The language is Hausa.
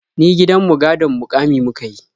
Ni gidan mu gadon muƙami muka yi.